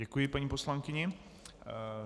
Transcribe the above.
Děkuji paní poslankyni.